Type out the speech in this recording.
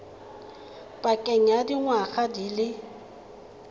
pakeng ya dingwaga di le